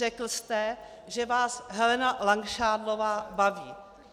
Řekl jste, že vás Helena Langšádlová baví.